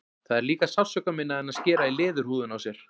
Það er líka sársaukaminna en að skera í leðurhúðina á sér.